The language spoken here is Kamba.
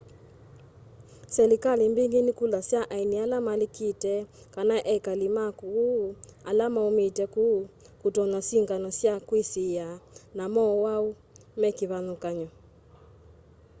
silikali mbingi nikulasya aeni ala malikite kana ekali ma ku ala maumite ku kutonywa sikngano sya kwisiiia na mowau mekivathukany'o